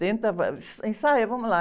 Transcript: Tenta, ensaia, vamos lá.